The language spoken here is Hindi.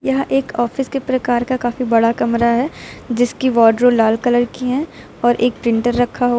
यह एक ऑफिस के प्रकार का काफी बड़ा कमरा है जिसकी वार्डरो लाल कलर की हैं और एक प्रिंटर रखा हुआ--